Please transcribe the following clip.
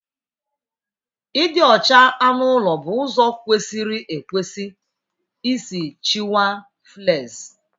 Ịdị ọcha anụ ụlọ bụ ụzọ kwesịrị ekwesị isi chịkwaa fleas